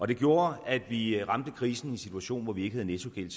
det gjorde at vi ramte krisen i en situation hvor vi ikke havde nettogæld